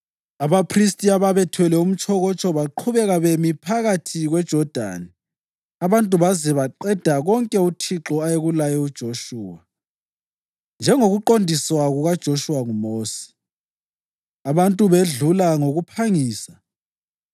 Abaphristi ababethwele umtshokotsho baqhubeka bemi phakathi kweJodani abantu baze baqeda konke uThixo ayekulaye uJoshuwa, njengokuqondiswa kukaJoshuwa nguMosi. Abantu bedlula ngokuphangisa